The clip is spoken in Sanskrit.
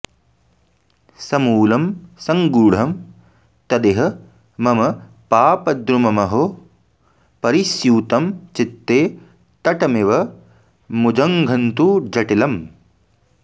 समूलं सङ्गूढं तदिह मम पापद्रुममहो परिस्यूतं चित्ते तटमिव मुजङ्घन्तु जटिलम्